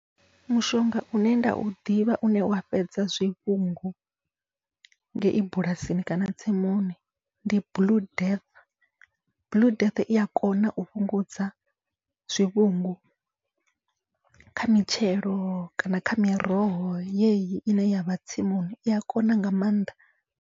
Mushonga une nda u ḓivha une wa fhedza zwivhungu ngei bulasini kana tsimuni, ndi blue death blue death iya kona u fhungudza zwivhungu kha mitshelo kana kha miroho yeyi ine yavha tsimuni iya kona nga maanḓa.